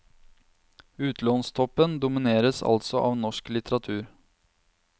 Utlånstoppen domineres altså av norsk litteratur.